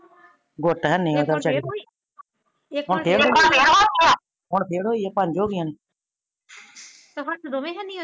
goat ਹੇਨੀ ਓਦਾ ਵਚਾਰੀ ਦਾ ਹੁਣ ਫੇਰ ਹੁਣ ਫੇਰ ਓਹੀ ਪੰਜ ਹੋ ਗਾਇਆ ਨੇ ਤੇ ਹਾਥ ਦੋਨੇ ਹੇਨੀ